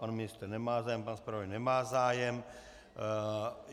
Pan ministr nemá zájem, pan zpravodaj nemá zájem.